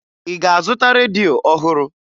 Ị ga-azụta redio ọhụrụ?